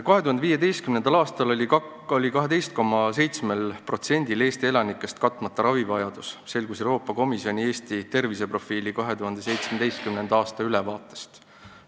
2015. aastal oli 12,7%-l Eesti elanikest katmata ravivajadus, selgus Euroopa Komisjoni Eesti terviseprofiili 2017. aasta ülevaatest.